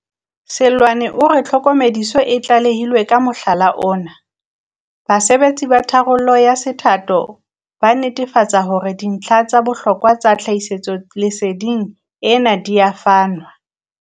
Seloane o re ha tlhokomediso e tlalehilwe ka mohala ona, basebetsi ba tharollo ya se thato ba netefatsa hore dintlha tsa bohlokwa tsa tlhahisolese ding ena di a fanwa.